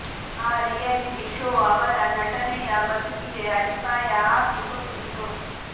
ಆ reality show ಅವರ ನಟನೆಯ ಬದುಕಿಗೆ ಅಡಿಪಾಯ ಹಾಕಿ ಕೊಟ್ಟಿತ್ತು